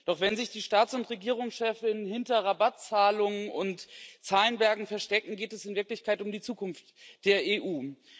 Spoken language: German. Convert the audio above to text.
Doch wenn sich die Staats und Regierungschefinnen hinter Rabattzahlungen und Zahlenbergen verstecken, geht es in Wirklichkeit um die Zukunft der EU.